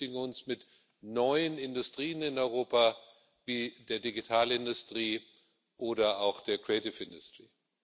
Wir beschäftigen uns mit neuen Industrien in Europa, wie der Digitalindustrie oder auch der Kreativindustrie.